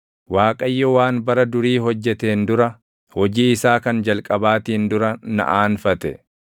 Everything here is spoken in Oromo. “ Waaqayyo waan bara durii hojjeteen dura, hojii isaa kan jalqabaatiin dura na aanfate;